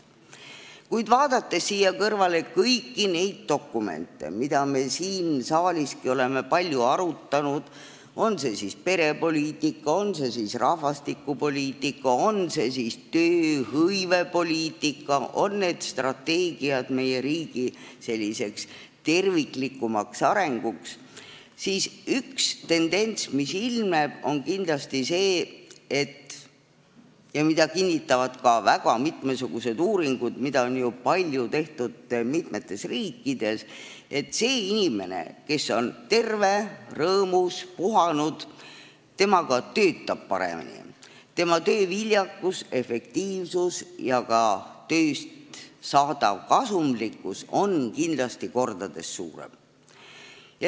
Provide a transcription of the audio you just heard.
Kuid vaadates siia kõrvale kõiki neid dokumente, mida me siin saaliski oleme palju arutanud, on see siis perepoliitika, on see siis rahvastikupoliitika või tööhõivepoliitika dokument, on need siis strateegiad meie riigi terviklikuma arengu jaoks, selgub, et üks tendents, mis ilmneb, on kindlasti see – seda kinnitavad väga mitmesugused uuringud, mida on ju mitmetes riikides palju tehtud –, et see inimene, kes on terve, rõõmus ja puhanud, ka töötab paremini, tema tööviljakus, efektiivsus ja tema tööst saadav kasumlikkus on kindlasti mitu korda suurem.